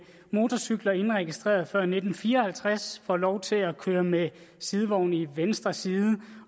motorcykler indregistreret før nitten fire og halvtreds får lov til at køre med sidevogn i venstre side